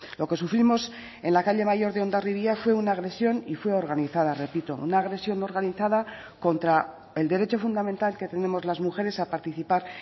lo que sufrimos en la calle mayor de hondarribia fue una agresión y fue organizada repito una agresión organizada contra el derecho fundamental que tenemos las mujeres a participar